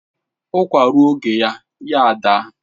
Ukwa rụọ oge ya adaa